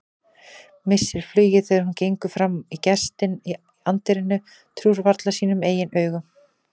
Missir flugið þegar hún gengur fram á gestinn í anddyrinu, trúir varla sínum eigin augum.